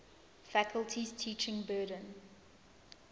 faculty's teaching burden